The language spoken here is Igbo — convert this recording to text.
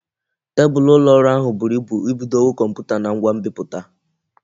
Tebulu ụlọ ọrụ ahụ buru ibu ibudonwu Kọmputa na ngwa nbiputa